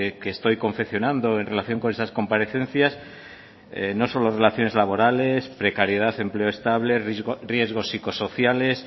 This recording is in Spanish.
que estoy confeccionando en relación con esas comparecencias no solo relaciones laborales precariedad empleo estable riesgos psicosociales